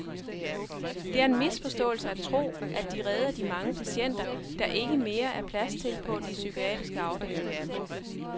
Det er en misforståelse at tro, at de redder de mange patienter, der ikke mere er plads til på de psykiatriske afdelinger.